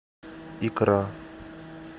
икра